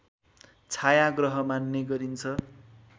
छाया ग्रह मान्ने गरिन्छ